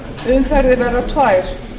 umferðir verða tvær